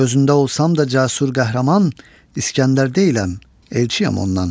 Gözündə olsam da cəsur qəhrəman, İsgəndər deyiləm, elçiyəm ondan.